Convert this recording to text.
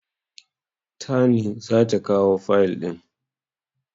Tani za ta kawo fayil ɗin.